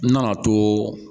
N nana to